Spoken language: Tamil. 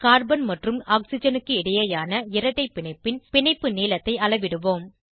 கார்பன் மற்றும் ஆக்சிஜனுக்கு இடையேயான இரட்டை பிணைப்பின் பிணைப்பு நீளத்தை அளவிடுவோம்